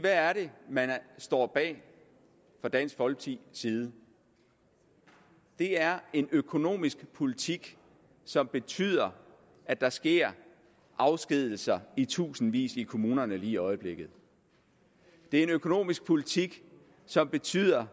hvad er det man står bag fra dansk folkepartis side det er en økonomisk politik som betyder at der sker afskedigelser i tusindvis i kommunerne lige i øjeblikket det er en økonomisk politik som betyder